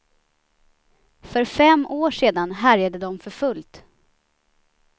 För fem år sedan härjade de för fullt.